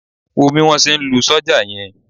Wò ó bí wọ́n ṣe ń lu sọ́jà yẹn.